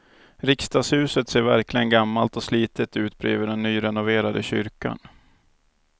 Riksdagshuset ser verkligen gammalt och slitet ut bredvid den nyrenoverade kyrkan.